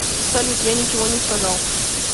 салют я ничего не сказал